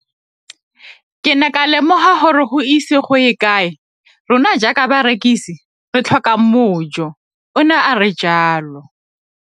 Ke ne ka lemoga gore go ise go ye kae rona jaaka barekise re tla tlhoka mojo, o ne a re jalo.